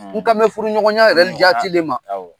N kan bɛ furu ɲɔgɔnya yɛrɛ jati le man.